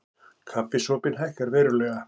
Kaffisopinn hækkar verulega